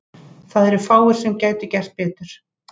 Það eru fáir sem gætu gert betur.